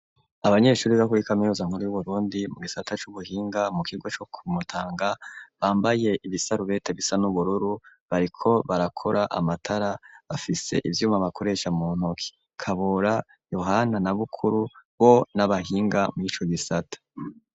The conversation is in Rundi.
Abanyeshuri bo kuri kaminuza nkuru yu Burundi mu gisata c'ubuhinga, mu kigo co Kumutanga, bambaye ibisarubete bisa n'ubururu, bariko barakora amatara, bafise ivyuma bakoresha mu ntoki, Kabura, Yohana na Bukuru bo n'abahinga muri ico gisata.